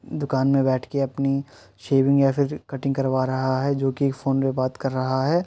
दुकान में बैठ के अपनी शेविंग या फिर कटिंग करवा रहा है। जो कि फ़ोन पे बात कर रहा है।